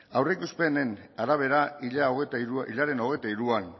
aurreikuspenen arabera hilaren hogeita hiruan